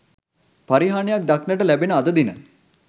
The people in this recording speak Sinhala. පරිහානියක් දක්නට ලැබෙන අද දින